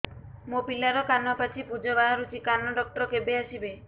ମୋ ପିଲାର କାନ ପାଚି ପୂଜ ବାହାରୁଚି କାନ ଡକ୍ଟର କେବେ ଆସିବେ